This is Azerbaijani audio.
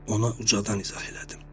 Ona ucadan izah elədim.